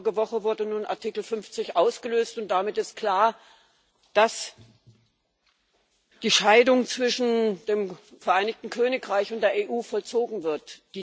Vorige Woche wurde nun Artikel 50 ausgelöst, und damit ist klar, dass die Scheidung zwischen dem Vereinigten Königreich und der EU vollzogen wird.